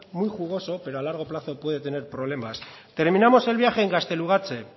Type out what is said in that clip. muy jugoso pero a largo plazo puede tener problemas terminamos el viaje en gaztelugatxe